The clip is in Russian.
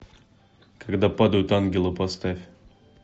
когда падают ангелы поставь